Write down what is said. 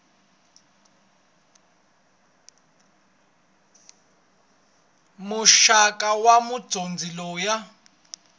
muxaka wa mudyondzi loyi a